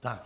Tak.